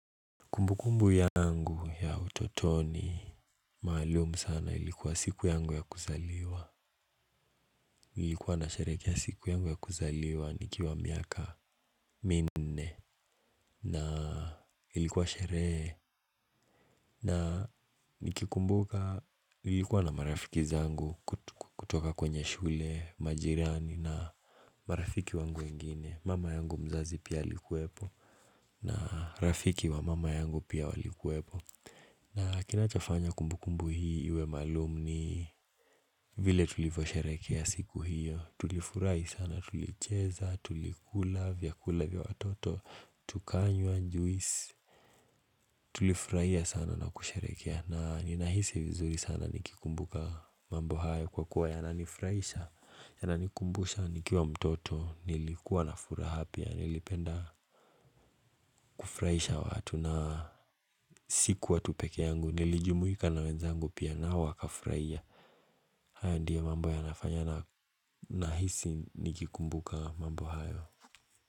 Kumbukumbu yangu ya utotoni maalumu sana ilikuwa siku yangu ya kuzaliwa Ilikuwa nasherehekea siku yangu ya kuzaliwa nikiwa miaka minne na ilikuwa sherehe na nikikumbuka ilikuwa na marafiki zangu kutoka kwenye shule majirani na marafiki wangu wengine mama yangu mzazi pia alikuwepo na rafiki wa mama yangu pia walikuwepo na kinachofanya kumbu kumbu hii iwe maalum ni vile tulivyosherehekea siku hiyo Tulifurahi sana tulicheza, tulikula, vyakula vya watoto, tukanywa juisi Tulifurahia sana na kusherehekea na ninahisi vizuri sana nikikumbuka mambo hayo kwa kuwa yananifurahisha Yananikumbusha nikiwa mtoto nilikuwa na furaha pia, nilipenda kufurahisha watu na sikuwa tu pekee yangu nilijumuika na wenzangu pia nao wakafurahia haya ndio mambo yanafanya nahisi nikikumbuka mambo hayo.